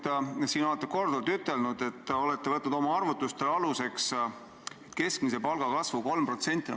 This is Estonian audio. Te olete siin juba korduvalt ütelnud, et te olete võtnud oma arvutuste aluseks keskmise palga kasvu 3%.